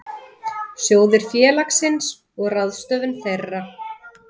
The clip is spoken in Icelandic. Sjóðir félagsins og ráðstöfun þeirra.